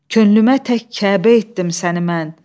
Könlümə tək Kəbə etdim səni mən.